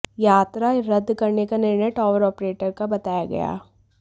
यात्रा रद्द करने का निर्णय टावर ऑपरेटर का बताया गया